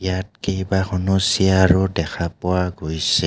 ইয়াত কেইবাখনো চিয়াৰ ও দেখা পোৱা গৈছে.